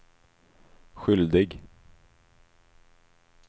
skyldig